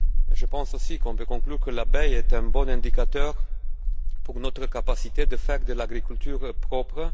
Je pense aussi qu'on peut conclure que l'abeille est un bon indicateur de notre capacité de faire de l'agriculture propre.